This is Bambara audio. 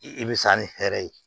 I bɛ sa ni hɛrɛ ye